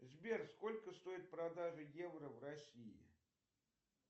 сбер сколько стоит продажа евро в россии